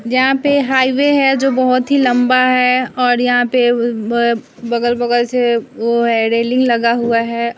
जहाँ पे हाईवे है जो बहुत ही लंबा है और यहाँ पे बगल-बगल से वो है रेलिंग लगा हुआ है।